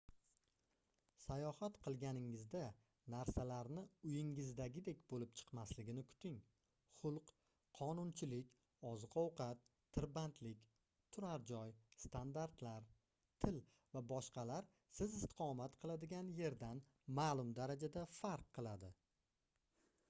sayohat qilganingizda narsalarning uyingizdagidek boʻlib chiqmasligini kuting xulq qonunchilik oziq-ovqat tirbandlik turar joy standartlar til va boshqalar siz istiqomat qiladigan yerdan maʼlum darajada farq qiladi